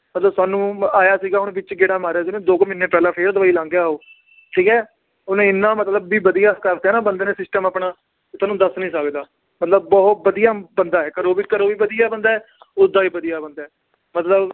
ਸਾਨੂੰ ਆਇਆ ਸੀਗਾ ਹੁਣ ਵਿੱਚ ਗੇੜਾ ਮਾਰਿਆ ਸੀ ਉਹਨੇ ਦੋ ਕੁ ਮਹੀਨੇ ਪਹਿਲਾਂ ਫਿਰ ਦੁਬਈ ਲੰਘ ਗਿਆ ਉਹ ਠੀਕ ਹੈ ਉਹਨੇ ਇੰਨਾ ਮਤਲਬ ਵੀ ਵਧੀਆ ਕਰ ਦਿੱਤਾ ਨਾ ਬੰਦੇ ਨੇ system ਆਪਣਾ ਤੁਹਾਨੂੰ ਦੱਸ ਨੀ ਸਕਦਾ, ਮਤਲਬ ਬਹੁਤ ਵਧੀਆ ਬੰਦਾ ਹੈ ਘਰੋਂ ਵੀ, ਘਰੋਂ ਵੀ ਵਧੀਆ ਬੰਦਾ ਹੈ ਓਦਾਂ ਵੀ ਵਧੀਆ ਬੰਦਾ ਹੈ ਮਤਲਬ